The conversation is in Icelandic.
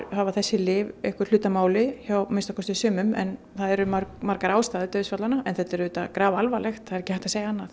hafa þessi lyf einhver hlut að máli hjá að minnsta kosti sumum það eru margar ástæður en þetta er auðvitað grafalvarlegt það er ekki hægt að segja annað